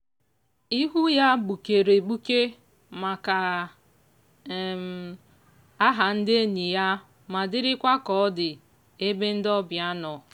o ji olu dị ala kelee kelee ndị ọzọ mana o ji njakịrị ekele ndị ọyị ya mgbe ọbụla.